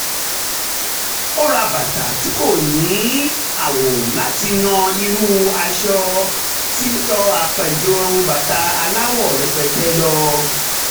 ó ra bàtà tí kò ní àwò láti yan irúfẹ́ aṣọ tó á pẹ́ ju bàtà aláwọ̀ rẹpẹtẹ lọ